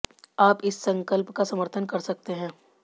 आप इस संकल्प का समर्थन कर सकते हैं